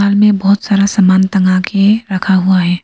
में बहोत सारा सामान टंगा के रखा हुआ है।